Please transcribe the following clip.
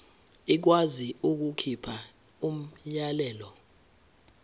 ikwazi ukukhipha umyalelo